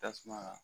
Tasuma